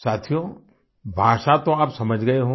साथियो भाषा तो आप समझ गए होंगे